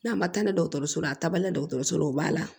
N'a ma taa ni dɔgɔtɔrɔso la a taabalen dɔgɔtɔrɔso la o b'a la